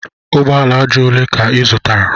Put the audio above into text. Ugbo ala aja ole ka ị zụtara?